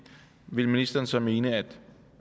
ville ministeren så mene at